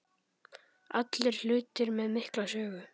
Allt hlutir með mikla sögu.